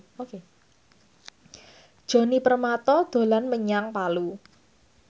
Djoni Permato dolan menyang Palu